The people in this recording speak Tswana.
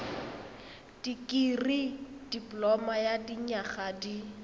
dikirii dipoloma ya dinyaga di